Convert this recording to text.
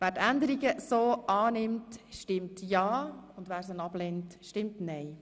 Wer die Änderungen so annimmt, stimmt ja, wer sie ablehnt, stimmt nein.